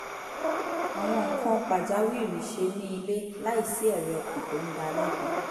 àwọn nǹkan pàjáwìrì ṣe ní ilé láìsí ẹ̀rí ọkàn tó ń dá a lẹ́bi